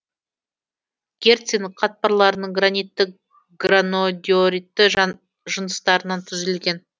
герцин қатпарларының гранитті гранодиоритті жыныстарынан түзілген